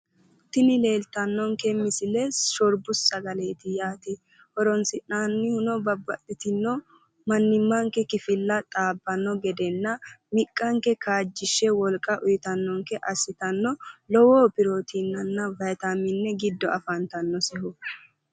Tini leeltanonke misile shorbu sagaleeti yaate, horonsinanihuno babaxitino manimanke kifile xaabbanonkehurana miqqanke kaajjishe wolqa uuyitanonke gede assitanno lowo pirotiinenna vitamine giddose afantanohura.